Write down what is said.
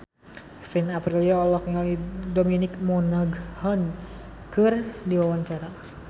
Kevin Aprilio olohok ningali Dominic Monaghan keur diwawancara